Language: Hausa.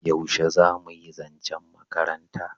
yaushe zamuyi zancen makaranta?